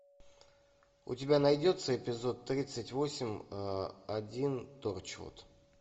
у тебя найдется эпизод тридцать восемь один торчвуд